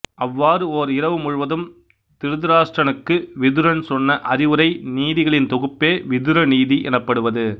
அவ்வாறு ஓர் இரவு முழுவதும் திருதராட்டிரனுக்கு விதுரன் சொன்ன அறிவுரை நீதிகளின் தொகுப்பே விதுர நீதி எனப்படுவது